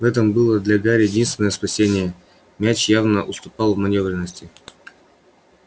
в этом было для гарри единственное спасение мяч явно уступал в манёвренности